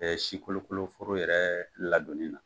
Si kolokolo foro yɛrɛ ladɔnni na,